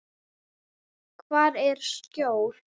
Hvar er skjól?